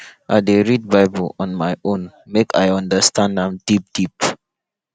i dey read bible on my own make i understand am deep deep